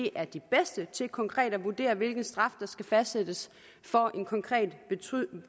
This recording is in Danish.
er de bedste til konkret at vurdere hvilken straf der skal fastsættes for en konkret